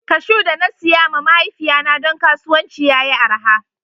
Kashu da na siya ma mahaifiya na don kasuwanci ya yi araha.